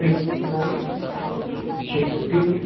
और उसके पीछे एक बिल्डिंग है।